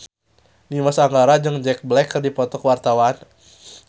Dimas Anggara jeung Jack Black keur dipoto ku wartawan